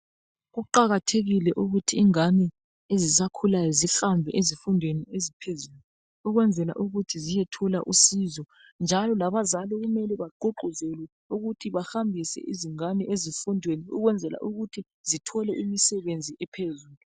Kuqakathekile ukuthi ingane ezisakhulayo sihambe ezifundweni eziphezulu ukwenzela ukuthi ziyethola usizo njalo labazali kumeme bagquqguzele ukuthi bahambise izingane ezifundweni ukwenzela ukuthi zithole imisebenzi ephezulu.